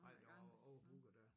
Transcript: Nej der var overbooket dér